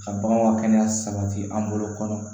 Ka baganw ŋa kɛnɛya sabati an bolo kɔnɔ